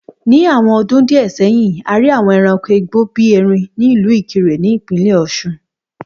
Ní àwọn ọdún díẹ̀ sẹ́yìn, a rí àwọn ẹranko igbó bíi erin ní ìlú Ìkirè ní Ìpínlẹ̀ Ọ̀ṣun